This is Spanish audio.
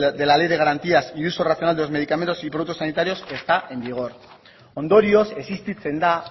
de la ley de garantías y uso racional de los medicamentos y productos sanitarios está en vigor ondorioz existitzen da